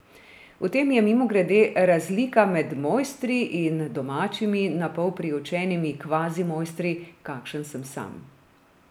V tem je, mimogrede, razlika med mojstri in domačimi, na pol priučenimi kvazimojstri, kakršen sem sam.